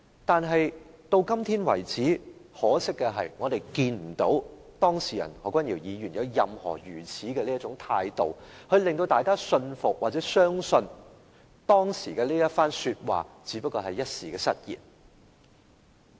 但是，到今天為止，很可惜的是我們看不到當事人何君堯議員有任何態度，令大家信服或相信他當時一番說話只是一時失言。